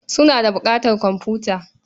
Suna da buƙatar komfuta.